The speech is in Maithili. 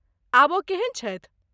आब ओ केहन छथि?